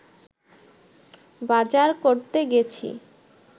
বাজার করতে গেছি